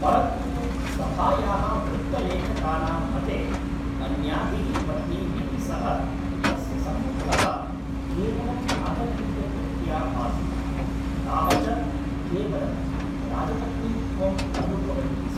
परन्तु सभायाः वृत्तलेखकानां मते, अन्याभिः पत्नीभिः सह तस्य सम्बन्धः केवलं राजनैतिकदृष्ट्या आसीत्, ताः च केवलं राजपत्नीत्वम् अनुभवन्ति स्म।